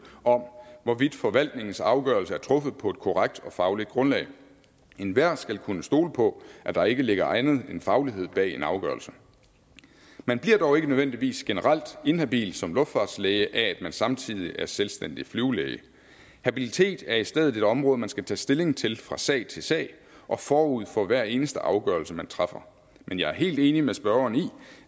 om hvorvidt forvaltningens afgørelse er truffet på et korrekt og fagligt grundlag enhver skal kunne stole på at der ikke ligger andet end faglighed bag en afgørelse man bliver dog ikke nødvendigvis generelt inhabil som luftfartslæge af at man samtidig er selvstændig flyvelæge habilitet er i stedet et område man skal tage stilling til fra sag til sag og forud for hver eneste afgørelse man træffer men jeg er helt enig med spørgeren i